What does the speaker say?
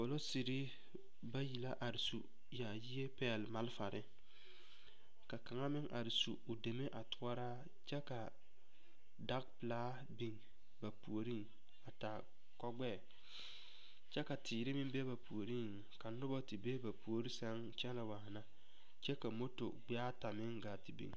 Polisiri bayi la are su yaayi a pɛgle malfare ka kaŋa meŋ are su o deme be o toɔraa kyɛ ka daga pelaa biŋ ba puoriŋ a taa kogbɛɛ kyɛ ka teere meŋ be ba puoriŋ ka noba te be ba puoriŋ sɛŋ kyɛnɛ waana kyɛ ka mɔtɔ gbɛɛata gaa te biŋ.